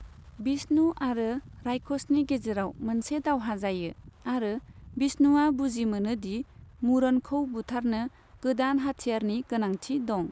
बिष्णु आरो रायखसनि गेजेराव मोनसे दावहा जायो आरो बिष्णुआ बुजि मोनो दि मुरनखौ बुथारनो गोदान हाथियारनि गोनांथि दं।